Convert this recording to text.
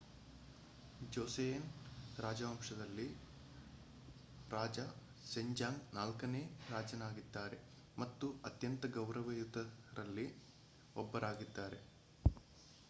ಜೋಸೆಯನ್ ರಾಜವಂಶದಲ್ಲಿ ರಾಜ ಸೆಜಾಂಗ್ ನಾಲ್ಕನೇ ರಾಜನಾಗಿದ್ದಾರೆ ಮತ್ತು ಅತ್ಯಂತ ಗೌರವಯುತರಲ್ಲಿ ಒಬ್ಬರಾಗಿದ್ದಾರೆ